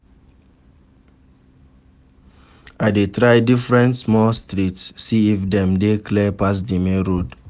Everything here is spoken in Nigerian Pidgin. I dey try different small streets, see if dem dey clear pass di main road.